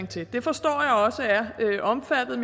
til det forstår jeg også er omfattet